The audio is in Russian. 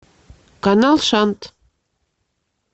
канал шант